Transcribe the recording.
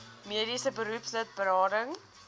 mediese beroepslid berading